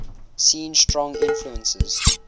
seen strong influences